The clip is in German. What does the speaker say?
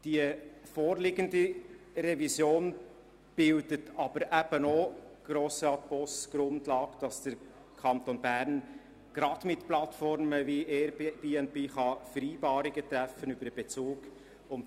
Grossrat Boss – die vorliegende Revision bildet aber eben auch die Grundlage, dass der Kanton Bern, gerade mit Plattformen wie Airbnb, Vereinbarungen über den Bezug treffen kann.